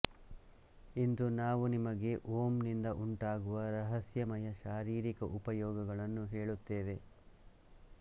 ಇಂದು ನಾವು ನಿಮಗೆ ಓಂನಿಂದ ಉಂಟಾಗುವ ರಹಸ್ಯಮಯ ಶಾರೀರಿಕ ಉಪಯೋಗಗಳನ್ನು ಹೇಳುತ್ತೇವೆ